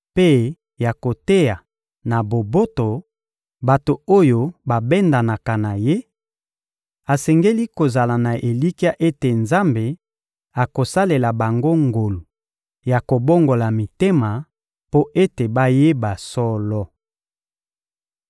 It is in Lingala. mpe ya koteya na boboto bato oyo babendanaka na ye; asengeli kozala na elikya ete Nzambe akosalela bango ngolu ya kobongola mitema mpo ete bayeba solo.